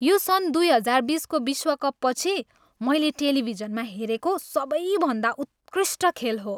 यो सन् दुई हजार बिसको विश्वकपपछि मैले टेलिभिजनमा हेरेको सबैभन्दा उत्कृष्ट खेल हो।